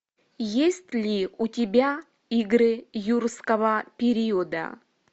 есть ли у тебя игры юрского периода